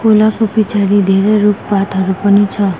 खोलाको पिछाडी धेरै रुखपातहरू पनि छ।